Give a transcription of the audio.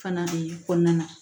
Fana de kɔnɔna na